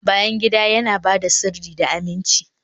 bayan gida yana ba da sirri da aminci